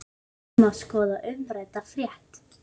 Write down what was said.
Hér má skoða umrædda frétt.